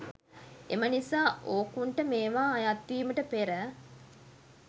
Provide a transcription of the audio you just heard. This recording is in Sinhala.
එම නිසා ඕකුන්ට මේවා අයත් වීමට පෙර